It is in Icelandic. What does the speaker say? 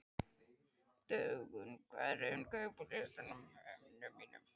Dögun, hvað er á innkaupalistanum mínum?